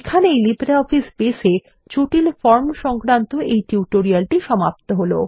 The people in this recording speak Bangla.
এখানেই লিব্রিঅফিস বেস এ জটিল ফরম সংক্রান্ত এই টিউটোরিয়াল সমাপ্ত হল